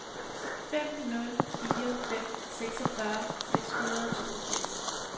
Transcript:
fem nul fire fem seksogfyrre seks hundrede og toogfirs